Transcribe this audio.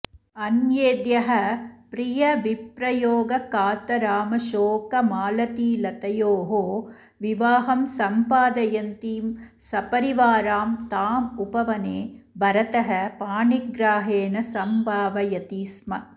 अन्येद्यः प्रियविप्रयोगकातरामशोकमालतीलतयोः विवाहं सम्पादयन्तीं सपरिवारां तामुपवने भरतः पाणिग्राहेण संभावयति स्म